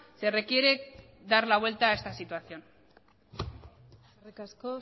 se requiere dar la vuelta a esta situación eskerrik asko